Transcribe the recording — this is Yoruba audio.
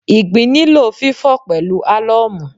Ìgbín nílò fífò pẹ̀lú álọ́ọ̀mù